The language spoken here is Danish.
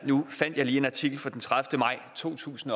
nu fandt jeg lige en artikel fra den tredivete maj to tusind